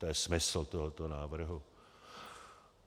To je smysl tohoto návrhu.